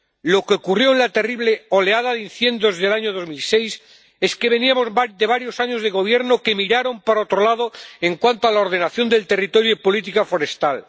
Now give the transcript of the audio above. Lo que ocurrió en la terrible oleada de incendios del año 2006 es que veníamos de varios años de gobierno que miraron para otro lado en cuanto a la ordenación del territorio y política forestal.